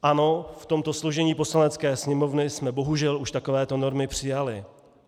Ano, v tomto složení Poslanecké sněmovny jsme bohužel už takovéto normy přijali.